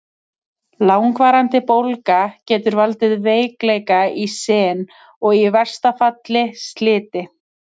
Langvarandi bólga getur valdið veikleika í sin og í versta falli sliti.